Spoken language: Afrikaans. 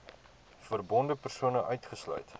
verbonde persone uitgesluit